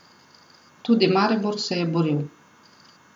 Tudi Maribor se je boril.